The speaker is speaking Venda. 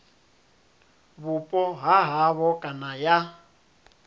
vhupo ha havho kana ya